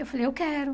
Eu falei, eu quero.